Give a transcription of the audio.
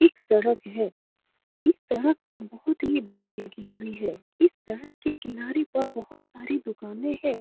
एक सड़क है | इस सड़क पर बहुत ही भीड़ लगी हुई है | इस सड़क के किनारे पर बहुत सारी दुकानें है।